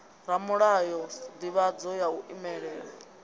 ramulayo sdivhadzo ya u imela